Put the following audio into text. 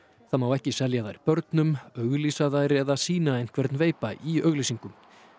það má ekki selja þær börnum auglýsa þær eða sýna einhvern veipa í auglýsingum